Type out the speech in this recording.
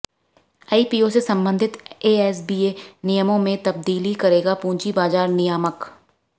IPO से संबंधित ASBA नियमों में तब्दीली करेगा पूंजी बाज़ार नियामक